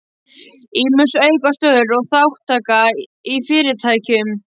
Ýmis aukastörf og þátttaka í fyrirtækjum